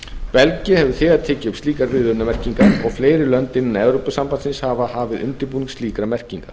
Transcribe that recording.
belgía hefur þegar tekið upp slíkar viðvörunarmerkingar og hafa fleiri lönd innan evrópusambandsins hafið undirbúning að upptöku slíkra merkinga